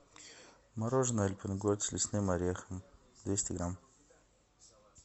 мороженое альпен гольд с лесным орехом двести грамм